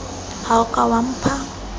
ha o ka wa mpha